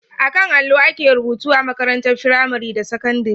A kan allo ake rubutu a makarantun firamare da sakandire..